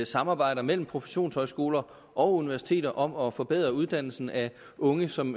samarbejder mellem professionshøjskoler og universiteter om at forbedre uddannelsen af unge som